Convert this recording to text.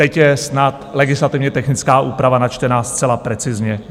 Teď je snad legislativně technická úprava načtena zcela precizně.